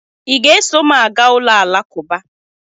I ga-eso m aga ụlọ Alakụba?